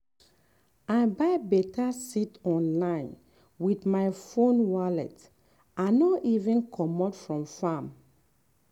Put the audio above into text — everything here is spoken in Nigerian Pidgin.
i buy beta seed online with my phone wallet i no even comot from farm.